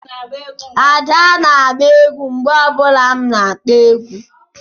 Ada na-agba egwú mgbe ọ bụla m na-akpo egwu